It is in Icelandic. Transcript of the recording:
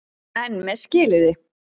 EN MEÐ SKILYRÐI.